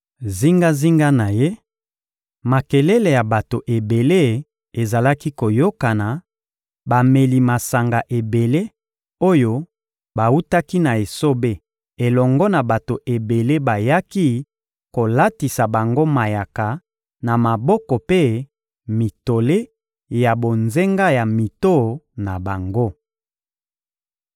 Zingazinga na ye, makelele ya bato ebele ezalaki koyokana, bameli masanga ebele oyo bawutaki na esobe elongo na bato ebele bayaki kolatisa bango mayaka na maboko mpe mitole ya bonzenga na mito na bango.